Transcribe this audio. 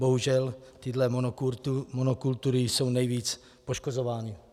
Bohužel tyto monokultury jsou nejvíc poškozovány.